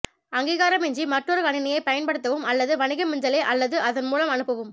அங்கீகாரமின்றி மற்றொரு கணினியைப் பயன்படுத்தவும் அல்லது வணிக மின்னஞ்சலை அல்லது அதன் மூலம் அனுப்பவும்